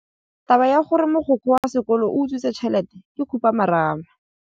Taba ya gore mogokgo wa sekolo o utswitse tšhelete ke khupamarama.